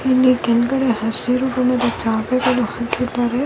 ಇಲ್ಲಿ ನಾನು ನೋಡುತ್ತಿರುವ ಈ ಯಾವುದೊ--